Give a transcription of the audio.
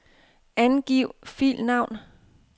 Angiv filnavn.